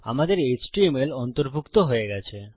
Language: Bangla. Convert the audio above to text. আমাদের এচটিএমএল অন্তর্ভুক্ত হয়ে গেছে